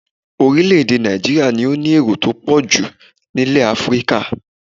Orílẹ̀-èdè Nàìjííríà ni ó ní èrò tó pọ̀ jù nílẹ̀ Áfíríkà